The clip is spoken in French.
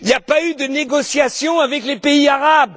Il n'y a pas eu de négociations avec les pays arabes.